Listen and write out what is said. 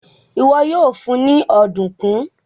iwọ yoo fun ní Ọ̀dùnkún.